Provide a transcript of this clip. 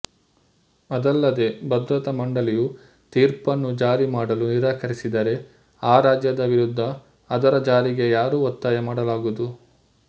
ಅದಲ್ಲದೇ ಭದ್ರತಾ ಮಂಡಳಿಯು ತೀರ್ಪನ್ನು ಜಾರಿ ಮಾಡಲು ನಿರಾಕರಿಸಿದರೆ ಆ ರಾಜ್ಯದ ವಿರುದ್ದ ಅದರ ಜಾರಿಗೆ ಯಾರೂ ಒತ್ತಾಯ ಮಾಡಲಾಗದು